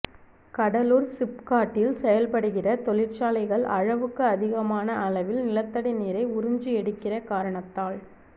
கடலூர் சிப்காட்ட்டில் செயல்படுகிற தொழிற்சாலைகள் அளவுக்கு அதிகமான அளவில் நிலத்தடி நீரை உறிஞ்சி எடுக்கிற காரணத்தால்